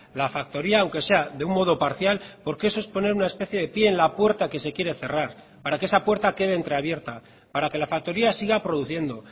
la factoría aunque sea de un modo parcial porque eso es poner una especie de pie en la puerta que se quiere cerrar para que esa puerta quede entreabierta para que la factoría siga produciendo